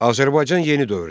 Azərbaycan yeni dövrdə.